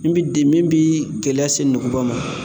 N bi de min bi gɛlɛya se nuguba ma